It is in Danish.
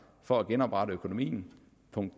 for at genoprette økonomien